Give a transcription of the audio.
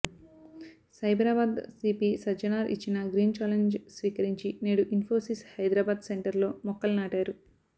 Cyberabad CP Sajjanar ఇచ్చిన green challenge స్వీకరించి నేడు ఇన్ఫోసిస్ హైదరాబాద్ సెంటర్ లో మొక్కలు నాటారు